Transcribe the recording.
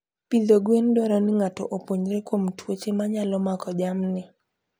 Pidho gwen dwaro ni ng'ato opuonjre kuom tuoche manyalo mako jamni.